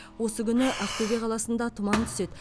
осы күні ақтөбе қаласында тұман түседі